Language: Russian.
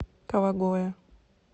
кавагоэ